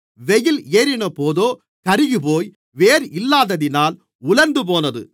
வெயில் ஏறினபோதோ கருகிப்போய் வேர் இல்லாததினால் உலர்ந்துபோனது